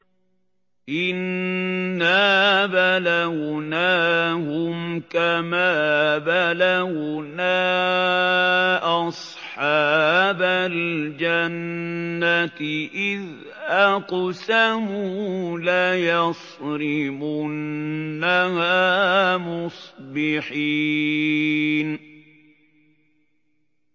إِنَّا بَلَوْنَاهُمْ كَمَا بَلَوْنَا أَصْحَابَ الْجَنَّةِ إِذْ أَقْسَمُوا لَيَصْرِمُنَّهَا مُصْبِحِينَ